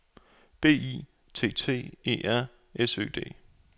B I T T E R S Ø D